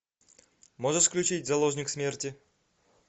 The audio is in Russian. можешь включить заложник смерти